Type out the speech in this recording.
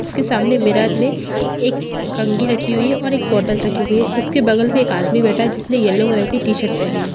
उसके सामने मिरर में एक कंघी रखी हुई है और एक बॉटल रखी हुई है उसके बगल में एक आदमी बैठा है जिसने येलो कलर की टी-शर्ट पहनी है।